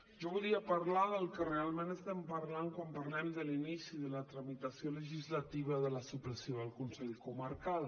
jo volia parlar del que realment parlem quan parlem de l’inici de la tramitació legislativa de la supressió del consell comarcal